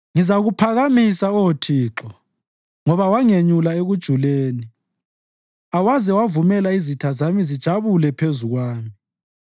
Ngizakuphakamisa, Oh Thixo, ngoba wangenyula ekujuleni awaze wavumela izitha zami zijabule phezu kwami.